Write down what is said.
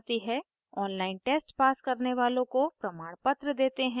online test pass करने वालों को प्रमाणपत्र देते हैं